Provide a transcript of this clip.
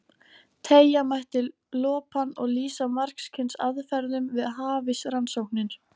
Teygja mætti lopann og lýsa margs kyns aðferðum við hafísrannsóknir.